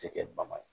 Tɛ kɛ bama ye